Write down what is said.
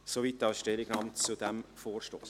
Soweit die Stellungnahme zu diesem Vorstoss.